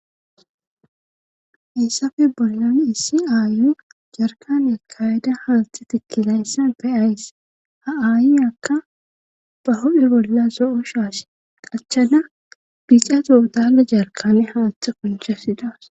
Issafe bollani issi aayu jarkanea kayyda haalti tikkilayssan feyays ha'aayi akka baho7hibolla so7o shaas qachchana biixato udale jarkane haathe kunchasi dawas.